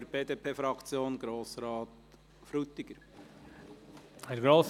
Für die BDP-Fraktion: Grossrat Frutiger.